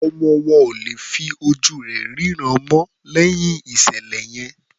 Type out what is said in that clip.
Ọmọ wọn ò lè fí ojú rẹ̀ rínràn mọ́ lẹ́yìn ìṣẹ̀lẹ̀ yẹn.